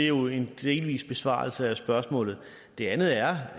jo en delvis besvarelse af spørgsmålet det andet er